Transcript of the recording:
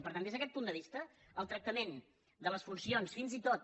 per tant des d’aquest punt de vista el tractament de les funcions fins i tot